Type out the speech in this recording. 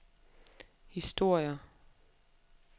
historier